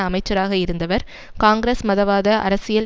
அமைச்சராக இருந்தவர் காங்கிரஸ் மதவாத அரசியல்